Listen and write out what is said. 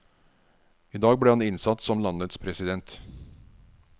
I dag ble han innsatt som landets president.